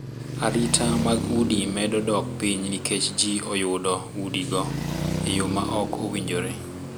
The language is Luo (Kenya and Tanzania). Arita mag udi medo dok piny nikech ji oyudo udi go e yo ma ok owinjore.